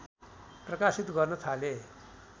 प्रकाशित गर्न थाले